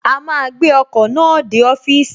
A máa gbé ọkọ̀ náà dé ọ́fìsì